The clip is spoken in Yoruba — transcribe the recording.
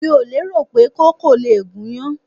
Mi ò lérò pé koko lè gúnyán.